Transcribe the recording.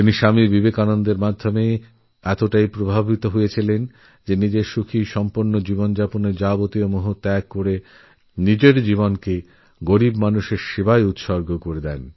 তিনি স্বামী বিবেকানন্দের দ্বারা এতটাইপ্রভাবিত হয়েছিলেন যে নিজের সুখস্বাচ্ছ্যন্দের জীবন ত্যাগ করে গরীবদুঃখীমানুষদের জন্যই নিজের জীবন উৎসর্গ করেন